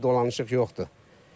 Başqa bir dolanışıq yoxdur.